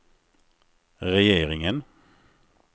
regeringen